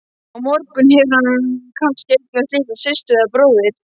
Á morgun hefur hann kannski eignast litla systur eða bróður.